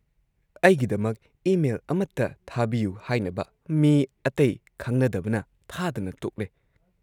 ꯑꯩꯒꯤꯗꯃꯛ email ꯑꯃꯇ ꯊꯥꯕꯤꯌꯨ ꯍꯥꯏꯅꯕ ꯃꯤ ꯑꯇꯩ ꯈꯪꯅꯗꯕꯅ ꯊꯥꯗꯅ ꯇꯣꯛꯂꯦ ꯫